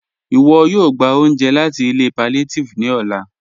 Iwọ̀ yóò gbà ọ̀unje láti ilẹ̀ pàllíàtívì ní ọ̀là